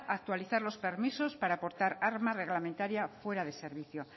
actualizar los permisos para portar arma reglamentaria fuera de servicio